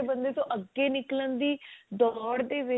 ਬੰਦੇ ਤੋਂ ਅੱਗੇ ਨਿਕਲਣ ਦੀ ਦੋੜ ਦੇ ਵਿੱਚ